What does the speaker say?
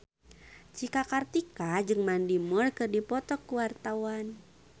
Cika Kartika jeung Mandy Moore keur dipoto ku wartawan